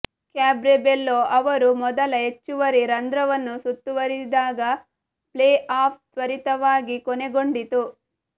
cabaret Bello ಅವರು ಮೊದಲ ಹೆಚ್ಚುವರಿ ರಂಧ್ರವನ್ನು ಸುತ್ತುವರಿದಾಗ ಪ್ಲೇಆಫ್ ತ್ವರಿತವಾಗಿ ಕೊನೆಗೊಂಡಿತು